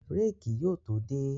Rẹ́ẹ̀kì yóò tó dé